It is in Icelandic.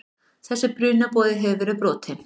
Þessi brunaboði hefur verið brotinn.